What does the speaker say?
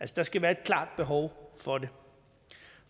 der skal være et klart behov for det